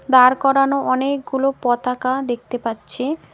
দাঁড় করানো অনেকগুলো পতাকা দেখতে পাচ্ছি।